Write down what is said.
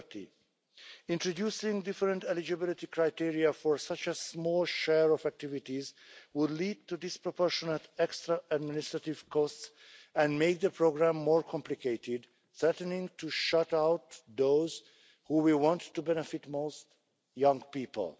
30. Introducing different eligibility criteria for such a small share of activities would lead to disproportionate extra administrative costs and make the programme more complicated, threatening to shut out those who we want to benefit most young people.